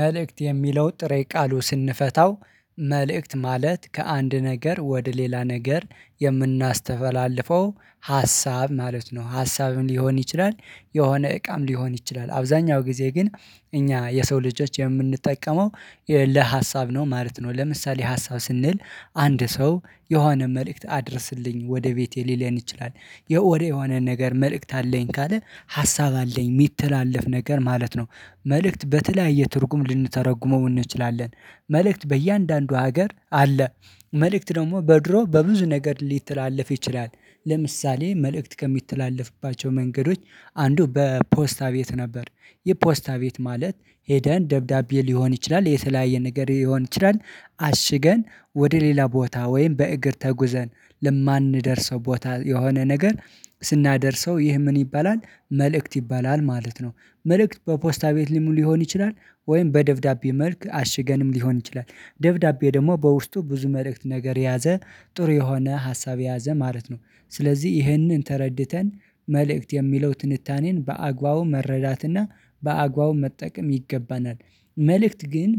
መልእክት የሚለው ጥሬ ቃሉ ስንፈታው መልእክት ማለት ከአንድ ነገር ወደ ሌላ ነገር የምናስተላልፈው ሀሳብ ማለት ነው። ሀሳብም ሊሆን ይችላል። የሆነ እቃም ሊሆን ይችላል አብዛኛው ጊዜ ግን እኛ የሰው ልጆች የምንጠቀመው ለሀሳብ ነው ማለት ነው። ለምሳሌ ሀሳብ ስንል አንድ ሰው የሆነ መልእክት አድርስልኝ ወደ ቤቴ ሊለን ይችላል። የሆነ ነገር መልእክት አለኝ ካለ ሀሳብ አለኝ የሚተላለፍ ነገር ማለት ነው። መልእክት በተለያየ ትርጉም ልንተረጉመው እንችላለን። መልእክት በእያንዳንዱ ሀገር አለ። መልእክት ደግሞ በድሮ በብዙ ነገር ሊተላለፍ ይችላል። ለምሳሌ መልእክት ከሚተላለፍባቸው መንገዶች አንዱ በፖስታ ቤት ነበር። የፖስታ ቤት ማለት ሄደን ደብዳቤ ሊሆን ይችላል የተለያየ ነገር ሊሆን ይችላል። አሽገን ወደ ሌላ ቦታ ወይም በእግር ተጉዘን ለማንደርሰው ቦታ የሆነ ነገር ስናደርሰው ይህ ምን ይባላል? መልእክት ይባላል ማለት ነው። መልእክት በፖስታ ቤት ሊሆን ይችላል። ወይም በደብዳቤ መልክ አሽገንም ሊሆን ይችላል። ደብዳቤ ደግሞ በውስጡ ብዙ መልእክት ነገር ያዘ። ጥሩ የሆነ ሀሳብ የያዘ ማለት ነው። ስለዚህ ይህንን ተረድተን መልእክት የሚለው ትንታኔን በአግባቡ መረዳትና በአግባቡ መጠቀም ይገባናል። መልእክት ግን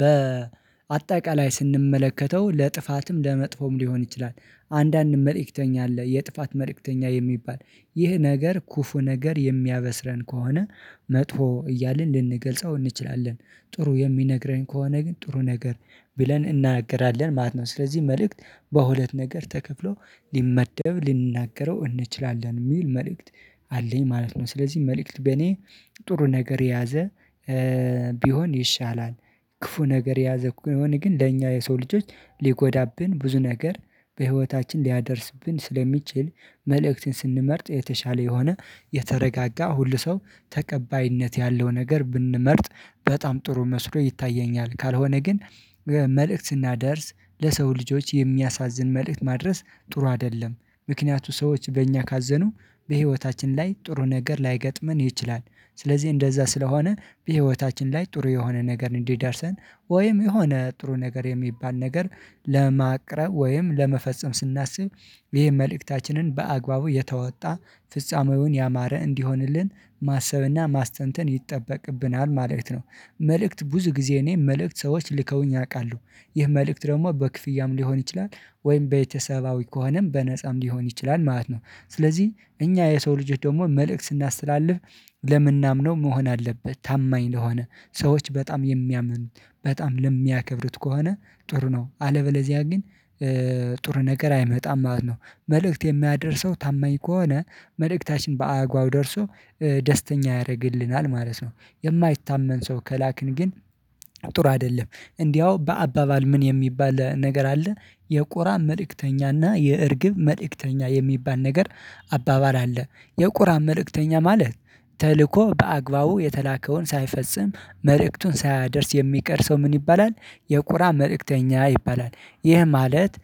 በአጠቃላይ ስንመለከተው ለጥፋትም ለመጥፎም ሊሆን ይችላል። አንዳንድ መልእክተኛ አለ የጥፋት መልእክተኛ የሚባል ይህ ነገር ኩፉ ነገር የሚያበስረን ከሆነ መጥፎ እያልን ልንገልጸው እንችላለን። ጥሩ የሚነግረኝ ከሆነ ግን ጥሩ ነገር ብለን እናገራለን ማለት ነው። ስለዚህ መልእክት በሁለት ነገር ተከፍሎ ሊመደብ ሊንናገረው እንችላለን የሚል መልእክት አለኝ ማለት ነው። ስለዚህ መልእክት በኔ ጥሩ ነገር የያዘ ቢሆን ይሻላል። ክፉ ነገር የያዘ የሆነ ግን ለኛ የሰው ልጆች ሊጎዳብን ብዙ ነገር በህይወታችን ሊያደርስብን ስለሚችል መልእክትን ስንመርጥ የተሻለ የሆነ የተረጋጋ ሁሉ ሰው ተቀባይነት ያለው ነገር ብንመርጥ በጣም ጥሩ መስሎ ይታየኛል። ካልሆነ ግን መልእክት ስናደርስ ለሰው ልጆች የሚያሳዝን መልእክት ማድረስ ጥሩ አይደለም። ምክንያቱ ሰዎች በእኛ ካዘኑ በህይወታችን ላይ ጥሩ ነገር ላይገጥመን ይችላል። ስለዚህ እንደዛ ስለሆነ በህይወታችን ላይ ጥሩ የሆነ ነገር እንዲደርሰን ወይም የሆነ ጥሩ ነገር የሚባል ነገር ለማቅረብ ወይም ለመፈጸም ስናስብ ይሄን መልእክታችንን በአግባቡ የተወጣ ፍጻሜውን ያማረ እንዲሆንልን ማሰብና ማስተንተን ይጠበቅብናል ማለት ነው። መልእክት ብዙ ጊዜ እኔ መልእክት ሰዎች ልከውኝ ያውቃሉ። ይህ መልእክት ደግሞ በክፍያም ሊሆን ይችላል። ወይም በቤተሰባዊ ከሆነም በነፃም ሊሆን ይችላል ማለት ነው። ስለዚህ እኛ የሰው ልጆች ደግሞ መልእክት ስናስተላልፍ ለምናምነው መሆን አለበት ታማኝ ለሆነ ሰዎች በጣም የሚያምኑት በጣም ለሚያከብሩት ከሆነ ጥሩ ነው። አለበለዚያ ግን ጥሩ ነገር አይመጣም ማለት ነው። መልእክት የሚያደርሰው ታማኝ ከሆነ መልእክታችን በአግባቡ ደርሶ ደስተኛ ያደርግልናል ማለት ነው። የማይታመን ሰው ከላክን ግን ጥሩ አይደለም። እንደው በአባባል ምን የሚባል ነገር አለ። የቁራ መልእክተኛና የእርግብ መልእክተኛ የሚባል ነገር አባባል አለ። የቁራ መልእክተኛ ማለት ተልእኮ በአግባቡ የተላከውን ሳይፈጽም መልእክቱን ሳያደርስ የሚቀር ሰው ምን ይባላል? የቁራ መልእክተኛ ይባላል። ይህ ማለት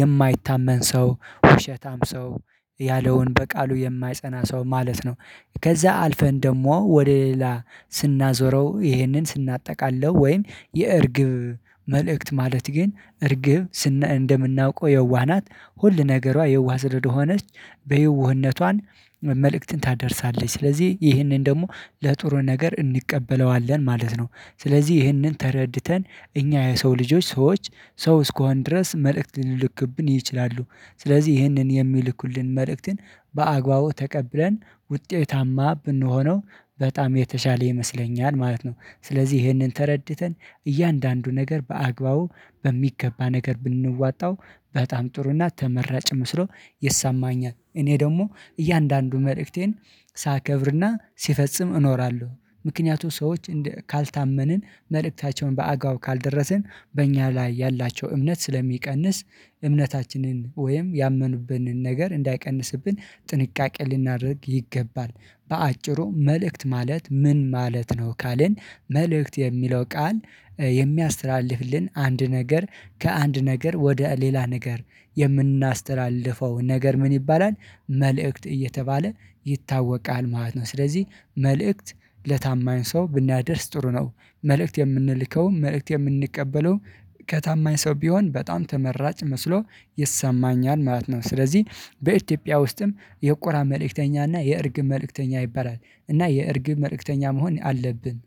የማይታመን ሰው ውሸታም ሰው ያለውን በቃሉ የማይጸና ሰው ማለት ነው። ከዛ አልፈን ደግሞ ወደ ሌላ ስናዞረው ይሄንን ስናጠቃለው ወይም የእርግብ መልእክት ማለት ግን እርግብ እንደምናውቀው የዋህ ናት። ሁል ነገሯ የዋህ ስለሆነች በየዋህነቷ መልእክትን ታደርሳለች ስለዚህ ይህንን ደግሞ ለጥሩ ነገር እንቀበለዋለን ማለት ነው። ስለዚህ ይህንን ተረድተን እኛ የሰው ልጆች ሰዎች ሰው እስካሁን ድረስ መልእክት ሊልኩብን ይችላሉ። ስለዚህ ይህንን የሚልኩልን መልእክትን በአግባቡ ተቀብለን ውጤታማ ብንሆነው በጣም የተሻለ ይመስለኛል ማለት ነው። ስለዚህ ይህንን ተረድተን እያንዳንዱ ነገር በአግባቡ በሚገባ ነገር ብንዋጣው በጣም ጥሩና ተመራጭ መስሎ ይሰማኛል። እኔ ደግሞ እያንዳንዱ መልእክቴን ሳከብርና ስፈጽም እኖራለሁ። ምክንያቱም ሰዎች ካልታመንን መልእክታቸውን በአግባቡ ካላደረስን በእኛ ላይ ያላቸው እምነት ስለሚቀንስ እምነታችንን ወይም ያመኑብንን ነገር እንዳይቀንስብን ጥንቃቄ ልናደርግ ይገባል። በአጭሩ መልእክት ማለት ምን ማለት ነው ካልን መልእክት የሚለው ቃል የሚያስተላልፍልን አንድ ነገር ከአንድ ነገር ወደ ሌላ ነገር የምናስተላልፈው ነገር ምን ይባላል? መልእክት እየተባለ ይታወቃል ማለት ነው። ስለዚህ መልእክት ለታማኝ ሰው ብናደርስ ጥሩ ነው። መልእክት የምንልከው መልእክት የምንቀበለው ከታማኝ ሰው ቢሆን በጣም ተመራጭ መስሎ ይሰማኛል ማለት ነው። ስለዚህ በኢትዮጵያ ውስጥም የቁራ መልእክተኛ እና የእርግብ መልእክተኛ ይባላል። እና የእርግብ መልእክተኛ መሆን አለብን